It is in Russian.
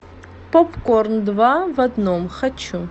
попкорн два в одном хочу